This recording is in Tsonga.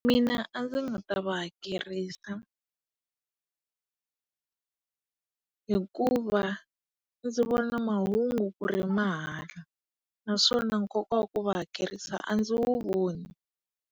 Mina a ndzi nga ta va hakerisiw. Hikuva ndzi vona mahungu ku ri mahala naswona nkoka wa ku va hakerisa a ndzi wu voni.